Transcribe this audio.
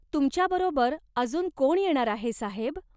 तुमच्याबरोबर अजून कोण येणार आहे साहेब?